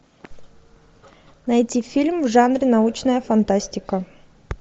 найти фильм в жанре научная фантастика